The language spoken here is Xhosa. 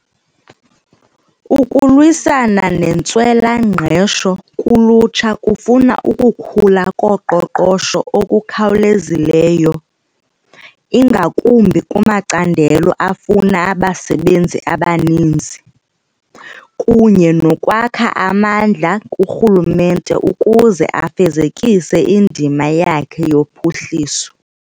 Ukulwisana nentswela-ngqesho kulutsha kufuna ukukhula koqoqosho okukhawulezileyo, ingakumbi kumacandelo afuna abasebenzi abaninzi, kunye nokwakha amandla kurhulumente ukuze afezekise indima yakhe yophuhliso.